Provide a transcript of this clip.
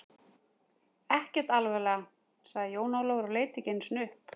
Ekkert alvarlega, sagði Jón Ólafur og leit ekki einu sinni upp.